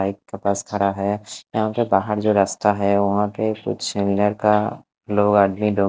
एक बस खड़ा है यहाँ पर बाहर जो रास्ता है वहाँ के कुछ नर का लोग आदमी लोग--